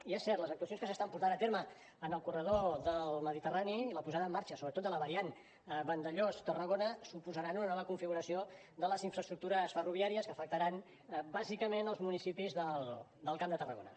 i és cert que les actuacions que s’estan portant a terme en el corredor del mediterrani la posada en marxa sobretot de la variant vandellòs tarragona suposaran una nova configuració de les infraestructures ferroviàries que afectaran bàsicament els municipis del camp de tarragona